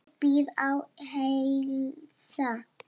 Ég bið að heilsa